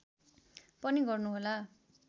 पनि गर्नुहोला